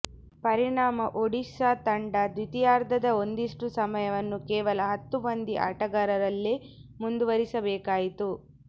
ಪರಿಣಾಮ ಒಡಿಶಾ ತಂಡ ದ್ವಿತೀಯಾರ್ಧದ ಒಂದಿಷ್ಟು ಸಮಯವನ್ನು ಕೇವಲ ಹತ್ತು ಮಂದಿ ಆಟಗಾರರಲ್ಲೇ ಮುಂದುವರಿಸಬೇಕಾಯಿತು